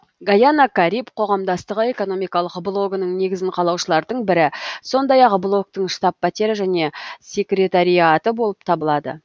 гайана кариб қоғамдастығы экономикалық блогының негізін қалаушылардың бірі сондай ақ блоктың штаб пәтері және секретариаты болып табылады